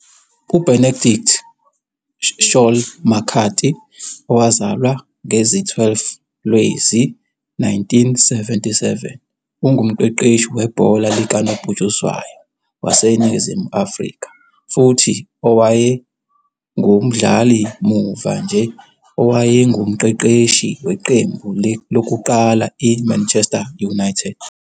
UBenedict Saul McCarthy owazalwa ngezi-12 Lwezi-1977 ungumqeqeshi webhola likanobhutshuzwayo waseNingizimu Afrika futhi owayengumdlali muva nje owayengumqeqeshi weqembu lokuqala I-Manchester United.